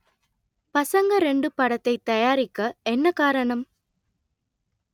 பசங்க ரெண்டு படத்தை தயாரிக்க என்ன காரணம்